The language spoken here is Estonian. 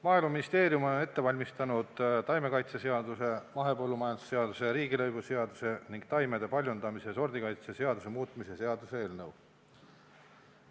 Maaeluministeerium on ette valmistanud taimekaitseseaduse, mahepõllumajanduse seaduse, riigilõivuseaduse ning taimede paljundamise ja sordikaitse seaduse muutmise seaduse eelnõu.